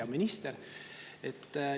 Hea minister!